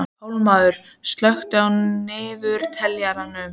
Pálmar, slökktu á niðurteljaranum.